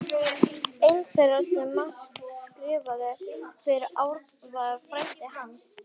Einn þeirra sem margt skrifaði fyrir Árna var frændi hans